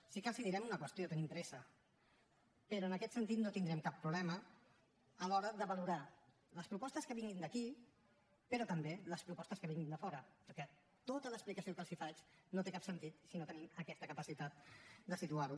sí que els direm una qüestió tenim pressa però en aquest sentit no tindrem cap problema a l’hora de valorar les propostes que vinguin d’aquí però també les propostes que vinguin de fora perquè tota l’explicació que els faig no té cap sentit si no tenim aquesta capacitat de situar ho